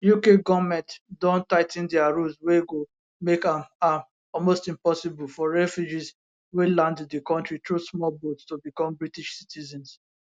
uk goment don tigh ten dia rules wey go make am am almost impossible for refugees wey land di kontri through small boat to become british citizens